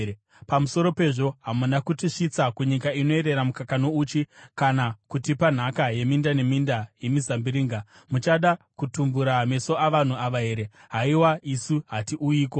Pamusoro pezvo, hamuna kutisvitsa kunyika inoyerera mukaka nouchi kana kutipa nhaka yeminda neminda yemizambiringa. Muchada kutumbura meso avanhu ava here? Haiwa, isu hatiuyiko!”